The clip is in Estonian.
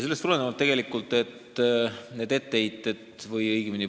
Selle eelnõu menetlemisele on jätkuvalt etteheiteid.